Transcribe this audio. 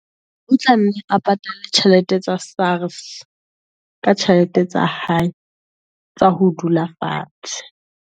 a patale tjhelete tsa Sars, ka tjhelete tsa hae tsa ho dula fatshe.